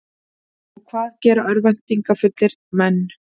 Og hvað gera örvæntingarfullir menn?